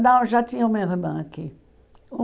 Não, já tinha uma irmã aqui.